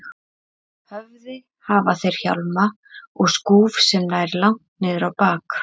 höfði hafa þeir hjálma og skúf sem nær langt niður á bak.